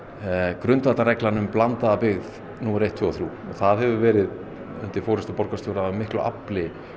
grundvallarreglan um blandaða byggð númer eitt tvö og þrjú og það hefur verið undir forystu borgarstjóra af miklu afli